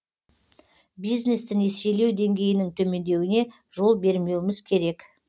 бизнесті несиелеу деңгейінің төмендеуіне жол бермеуіміз керек